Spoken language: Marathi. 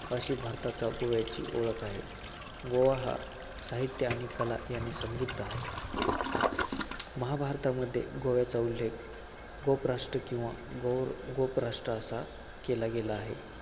अशी भारतात गोव्याची ओळख आहे. गोवा हा साहित्य आणि कला याने समृद्ध आहे. महाभारतामध्ये गोव्याचा उल्लेख गोपराष्ट्र किंवा गोव~ गोवराष्ट्र असा केला गेला आहे.